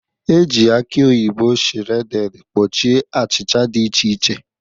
Ejiri aki oyibo shredded kpuchie achịcha dị iche iche.